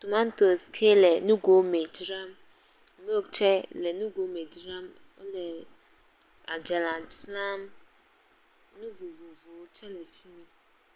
tomatos xe le nugo me dzram, milk tse le nugo me dzram, wole adzalae dzram nu vovovo tse le fi mi.